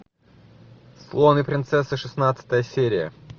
слон и принцесса шестнадцатая серия